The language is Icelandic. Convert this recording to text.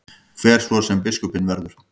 Hver svo sem biskupinn verður.